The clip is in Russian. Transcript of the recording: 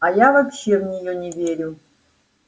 а я вообще в неё не верю